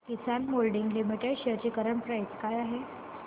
किसान moulding limited shares ची current price काय आहे